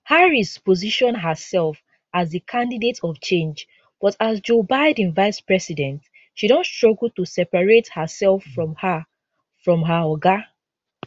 harris position herself as di candidate of change but as joe biden vice president she don struggle to separate hersef from her from her oga